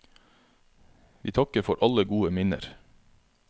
Vi takker for alle gode minner.